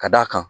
Ka d'a kan